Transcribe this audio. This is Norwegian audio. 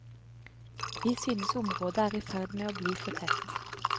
Vi synes området er i ferd med å bli for tett.